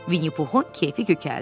Vinnipuxun kefi kökəldi.